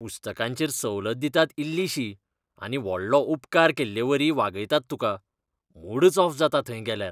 पुस्तकांचेर सवलत दितात इल्लिशी, आनी व्हडलो उपकार केल्लेवरी वागयतात तुका. मूडच ऑफ जाता थंय गेल्यार.